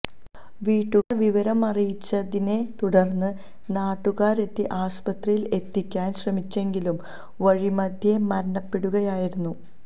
വീട്ടുകാര് വിവരമറിയിച്ചതിനെ തുടര്ന്ന് നാട്ടുകാരെത്തി ആശുപത്രിയില് എത്തിക്കാന് ശ്രമിച്ചെങ്കിലും വഴിമധ്യേ മരണപ്പെടുകയായിരുന്നു